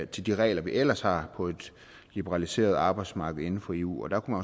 til de regler vi ellers har på et liberaliseret arbejdsmarked inden for eu og der kunne